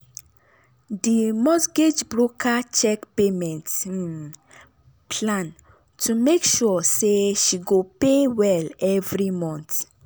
di mortgage broker check payment um plan to make sure say she go pay well every month.